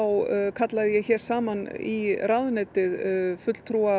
kallaði ég saman í ráðuneytið fulltrúa